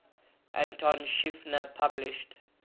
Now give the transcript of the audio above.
anton schiefner published